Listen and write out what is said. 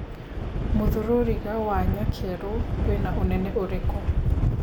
mũthũruriga wa nyakerũ wĩna ũnene ũrĩkũ